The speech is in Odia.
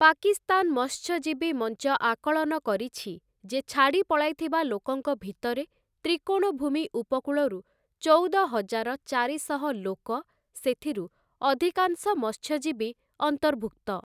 ପାକିସ୍ତାନ ମତ୍ସ୍ୟଜୀବୀ ମଞ୍ଚ ଆକଳନ କରିଛି, ଯେ ଛାଡ଼ିପଳାଇଥିବା ଲୋକଙ୍କ ଭିତରେ ତ୍ରିକୋଣଭୂମି ଉପକୂଳରୁ ଚଉଦହଜାର ଚାରିଶହ ଲୋକ, ସେଥିରୁ ଅଧିକାଂଶ ମତ୍ସ୍ୟଜୀବୀ, ଅନ୍ତର୍ଭୁକ୍ତ ।